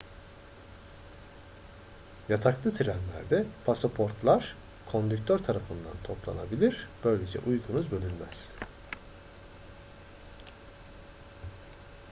yataklı trenlerde pasaportlar kondüktör tarafından toplanabilir böylece uykunuz bölünmez